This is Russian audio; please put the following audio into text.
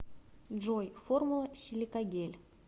джой формула силикагель